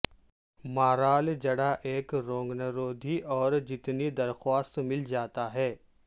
مارال جڑ ایک روگنرودھی اور جتنی درخواست مل جاتا ہے